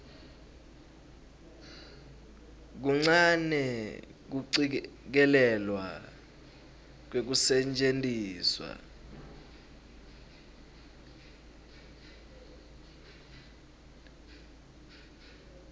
kuncane kucikelelwa kwekusetjentiswa